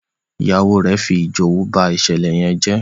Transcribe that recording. Ìyàwó rẹ fí ijowú bá ìṣẹlẹ yén jé.